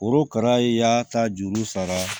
Korokara y'a ta juru sara